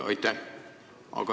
Aitäh!